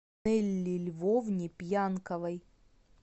нелли львовне пьянковой